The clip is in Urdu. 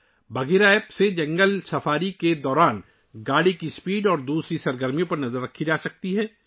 بگھیرا ایپ کے ذریعے جنگل سفاری کے دوران گاڑی کی رفتار اور دیگر سرگرمیوں پر نظر رکھی جا سکتی ہے